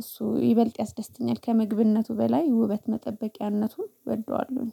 እሱ ይበልጥ ያስደስተኛል። ከምግብነቱ በላይ ውበት መጠበቂያነቱን እወደዋለሁ